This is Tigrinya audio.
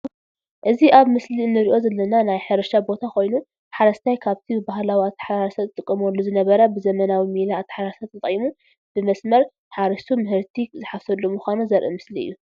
እዚ ኣብ ምስሊ እንሪኦ ዘለና ናይ ሕርሻ ቦታ ኮይኑ ሓረስታይ ካብቲ ብባህላዊ ኣተሓራርሳ ዝጥቀመሉ ዝነበረ ብዘመናዊ ሜላ ኣተሓራርሳ ተጠቒሙ ብመስመር ሓሪሱ ምህርቲ ዝሓፍሰሉ ምዃኑ ዘርኢ ምስሊ እዩ።